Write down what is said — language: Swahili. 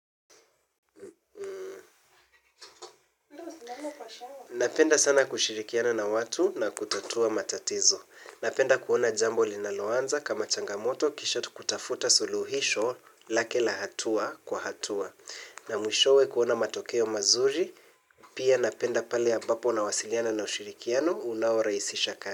Napenda sana kushirikiana na watu na kutatua matatizo. Napenda kuona jambo linaloanza kama changamoto kisha tukutafuta suluhisho lake la hatua kwa hatua. Na mwishowe kuona matokeo mazuri pia napenda pale ambapo nawasiliana na ushirikiano unao rahiisisha kani.